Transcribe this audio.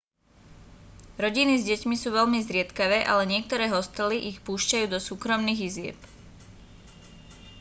rodiny s deťmi sú veľmi zriedkavé ale niektoré hostely ich púšťajú do súkromných izieb